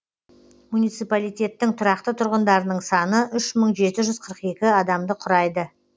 муниципалитеттің тұрақты тұрғындарының саны үш мың жеті жүз қырық екі адамды құрайды